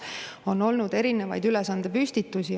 On olnud erinevaid ülesandepüstitusi.